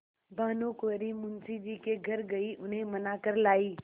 भानुकुँवरि मुंशी जी के घर गयी उन्हें मना कर लायीं